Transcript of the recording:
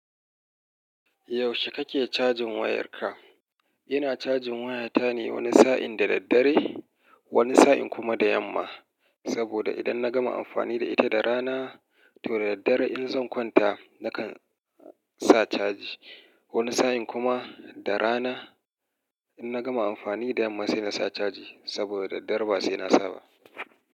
Yaushe kake cajin wayarka? Ina cajin wayata ne wani sa'in da daddare, wani sa'in kuma da yamma, saboda idan na gama amfani da ita da rana, to da daddare in zan kwanta nakan sa caji. Wani sa'in kuma da rana, in na gama amfani da yamma sai na sa caji. Saboda da daddare ba sai na sa ba.